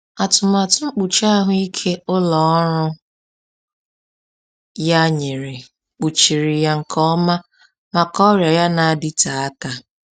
Atụmatụ mkpuchi ahụike ụlọ ọrụ ya nyere kpuchiri ya nke ọma maka ọrịa ya na-adịte aka.